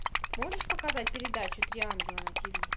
можешь показать передачу три ангела на тв